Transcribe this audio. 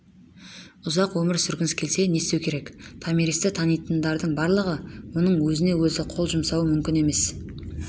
ұзақ өмір сүргіңіз келсе не істеу керек томиристі танитындардың барлығы оның өз-өзіне қол жұмсауы мүмкін емес